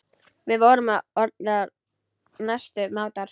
Við vorum orðnar mestu mátar.